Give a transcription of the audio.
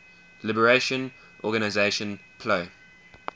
liberation organization plo